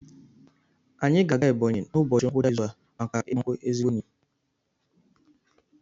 Anyị ga-eje Ebọnyi n'ụbọchị ngwụcha izu a maka ịgba nkwụ ezigbo enyi m